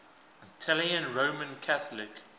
italian roman catholic